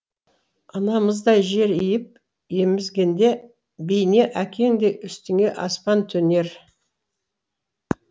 анамыздай жер иіп емізгенде бейне әкеңдей үстіңе аспан төнер